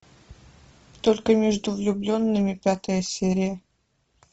только между влюбленными пятая серия